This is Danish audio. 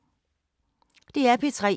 DR P3